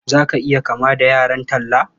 Za ka iya kama da yaran Talle?